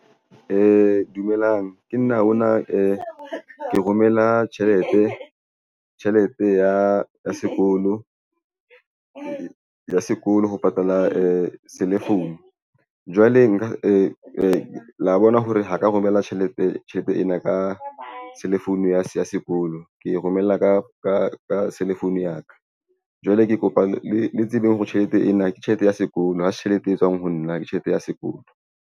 Dumelang ke nna ona ke romela tjhelete. Tjhelete ya sekolo ho patala cell phone. Jwale nka la bona hore ho ka romela tjhelete ena ka cellphone ya sekolo ke romella ka cell phone ya ka. Jwale ke kopa le tsebeng hore tjhelete ena ke tjhelete ya sekolo. Ha se tjhelete e tswang ho nna ke tjhelete ya sekolo.